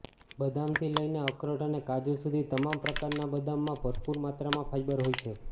બદામથી લઈને અખરોટ અને કાજુ સુધી તમામ પ્રકારના બદામમાં ભરપૂર માત્રામાં ફાઈબર હોય છે